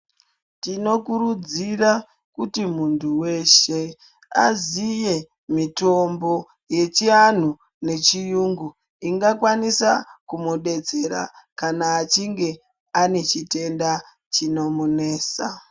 Tinokurudzira kuti muntu weshe aziye mitombo yechianhu nechiyungu ingakwanisa kumudetsera kana achinge anechitenda chinomunesa.